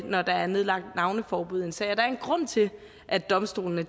når der er nedlagt navneforbud i en sag der er en grund til at domstolene